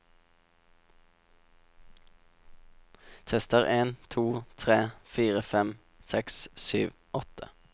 Tester en to tre fire fem seks sju åtte